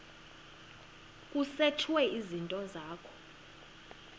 kusetshwe izinto zakho